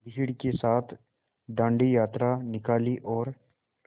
भीड़ के साथ डांडी यात्रा निकाली और